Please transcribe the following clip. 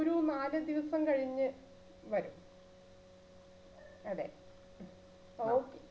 ഒരു നാല് ദിവസം കഴിഞ്ഞ് വരും. അതെ okay.